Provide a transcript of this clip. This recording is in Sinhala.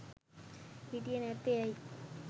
හිටියෙ නැත්තේ ඇයි.